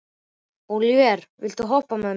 Ólíver, viltu hoppa með mér?